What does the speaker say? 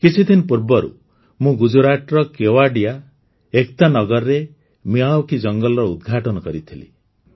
କିଛିଦିନ ପୂର୍ବରୁ ମୁଁ ଗୁଜରାଟର କେୱଡ଼ିଆ ଏକତାନଗରରେ ମିୟାୱାକି ଜଙ୍ଗଲର ଉଦ୍ଘାଟନ କରିଥିଲି